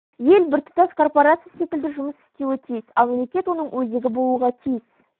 ел біртұтас корпорация секілді жұмыс істеуі тиіс ал мемлекет оның өзегі болуға тиіс